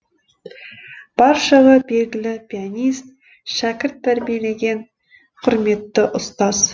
баршаға белгілі пианист шәкірт тәрбиелеген құрметті ұстаз